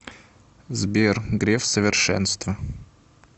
сбер греф совершенство